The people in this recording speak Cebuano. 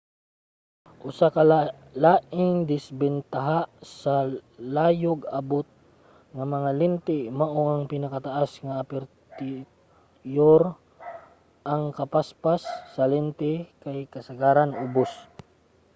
usa ka laing disbentaha sa layog-abot nga mga lente mao ang pinakataas nga apertiyur ang kapaspas sa lente kay kasagaran ubos